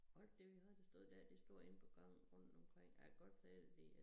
Og da vi havde det stået dér det står inde på gange rundt omkring og jeg kan godt sige dig det er